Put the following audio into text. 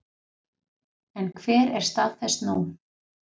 En hver er stað þess nú?